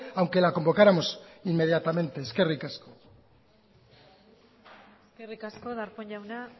aunque la convocáramos inmediatamente eskerrik asko eskerrik asko darpón jauna